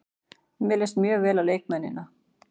Mér leist mjög vel á leikmennina.